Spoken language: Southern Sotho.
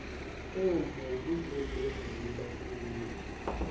eo mobu o leng lebatoweng